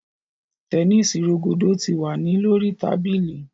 Tẹnisi rogodo ti wa ni lori tabili